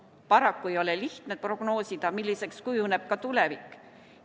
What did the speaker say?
Paraku ei ole lihtne prognoosida, milliseks kujuneb tulevik.